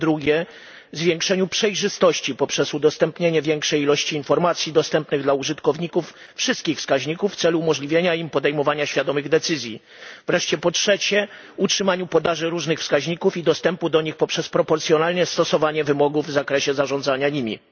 Po drugie, zwiększeniu przejrzystości poprzez udostępnienie większej ilości informacji dostępnych dla użytkowników wszystkich wskaźników w celu umożliwienia im podejmowania świadomych decyzji. Wreszcie po trzecie, utrzymaniu podaży różnych wskaźników i dostępu do nich poprzez proporcjonalne stosowanie wymogów w zakresie korzystania nimi.